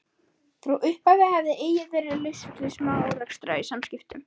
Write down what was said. Frá upphafi hafði eigi verið laust við smá-árekstra í samskiptum